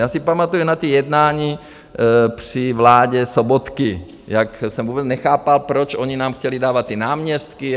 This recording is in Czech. Já si pamatuji na ta jednání při vládě Sobotky, jak jsem vůbec nechápal, proč oni nám chtěli dávat ty náměstky.